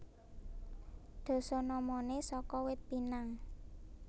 Dasanamané saka Wit Pinang